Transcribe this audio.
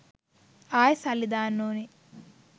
ආයෙ සල්ලි දාන්න ඕනෙ